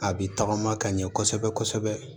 A bi tagama ka ɲɛ kɔsɛbɛ kɔsɛbɛ